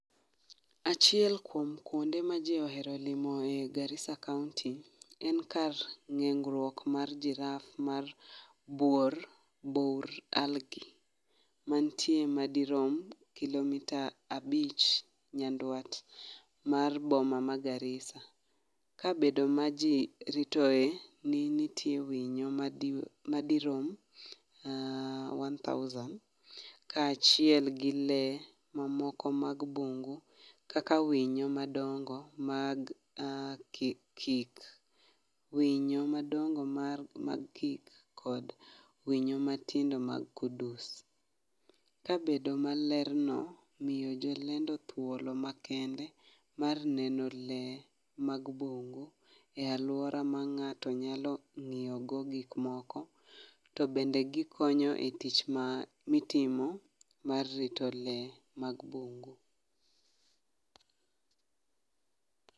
Achiel kuom kuonde maji ohero limo e Garissa kaonti en kar ng'iengruok mar jiraf mar buor bur algi mantie madirom kilomita abich nyanduat mar boma ma Garissa ka bedo maji ritoe ni nitie winyo madirom one thousand kaachiel gi lee mamoko mag bungu kaka winyo madongo mag kik winyo madogo mag kik kod winyo matindo mag kudos ka bedo malerno miyo jolendo thuolo makende mar neno lee mag bungu e aluora ma ng'ato nyalo ng'iyogo gik moko to bende gikonyo e tich mitimo mar rito lee mag bungu.